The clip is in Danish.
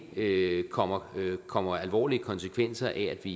ikke kommer kommer alvorlige konsekvenser af at vi